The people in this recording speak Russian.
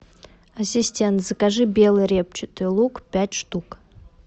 ассистент закажи белый репчатый лук пять штук